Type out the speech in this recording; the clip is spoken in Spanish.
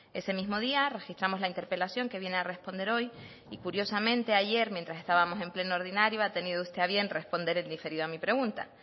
ese mismo día registramos la interpelación que viene a responder hoy y curiosamente ayer mientras estábamos en pleno ordinario ha tenido usted a bien responder en diferido a mi pregunta